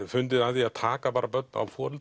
fundið að því að taka börn